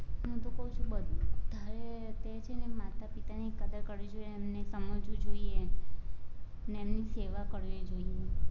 હું તો કવ છું બધાએ છે ને માતા પિતાની કદર કરવી જોઈએ, એમને સમજવું જોઈએ, ને એમની સેવા કરવી જોઈએ.